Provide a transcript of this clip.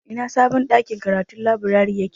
Ina sabon ɗakin karatun/laburari yake?